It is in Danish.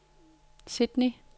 Sydney